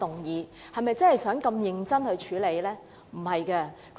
是否真的想要認真處理該議案？